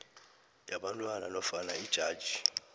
yabantwana nofana ijaji